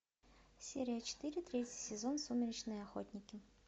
серия четыре третий сезон сумеречные охотники